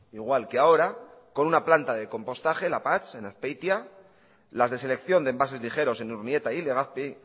igual que ahora con una planta de compostaje lapatx en azpeitia las de selección de envases ligeros en urnieta y legazpi